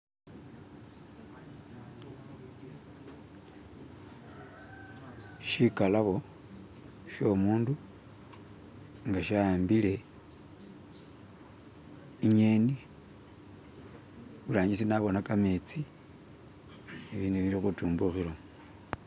Tsikhalabo tsomundu nga tsahambile enyeni, eburangitsi nabona khametsi ebindu biri khutumbukilamo